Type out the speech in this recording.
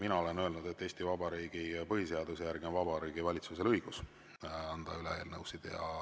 Mina olen öelnud, et Eesti Vabariigi põhiseaduse järgi on Vabariigi Valitsusel õigus anda üle eelnõusid.